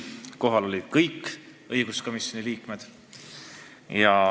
Kohal olid kõik õiguskomisjoni liikmed.